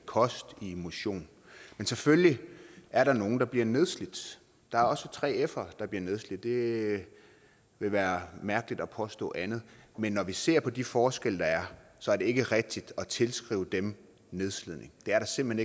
kost og motion men selvfølgelig er der nogle der bliver nedslidt der er også 3fere der bliver nedslidt det ville være mærkeligt at påstå andet men når vi ser på de forskelle der er så er det ikke rigtigt at tilskrive dem nedslidning det er der simpelt